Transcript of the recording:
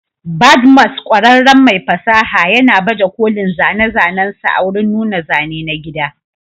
Badmus, ƙwararren mai fasaha, yana baje kolin zane-zanensa a wurin nuna zane na gida.